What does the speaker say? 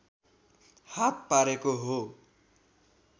हात पारेको हो